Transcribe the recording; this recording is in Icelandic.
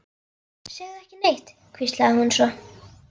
Segðu ekki neitt, hvíslaði hún svo.